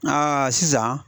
sisan